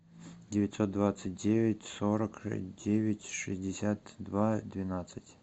девятьсот двадцать девять сорок девять шестьдесят два двенадцать